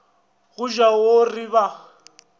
go ja o re ba